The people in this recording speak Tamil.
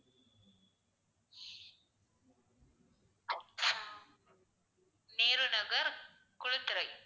ஆஹ் நேரு நகர் குளித்துறை